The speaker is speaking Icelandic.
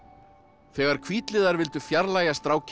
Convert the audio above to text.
þegar hvítliðar vildu fjarlægja strákinn